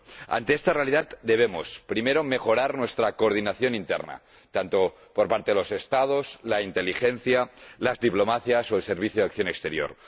Ante esta realidad, debemos, primero, mejorar nuestra coordinación interna, por parte de los Estados, la inteligencia, las diplomacias o el Servicio Europeo de Acción Exterior.